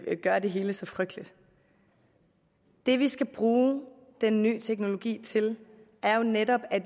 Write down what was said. gøre det hele så frygteligt det vi skal bruge den ny teknologi til er jo netop at